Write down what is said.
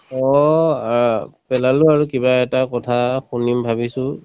অ, অ পেলালো আৰু কিবা এটা কথা শুনিম ভাবিছো